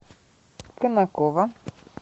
конаково